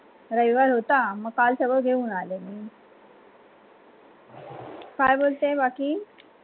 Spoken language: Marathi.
रविवार होता मग काल सगड घेऊन आले मी काय बोलते बाकी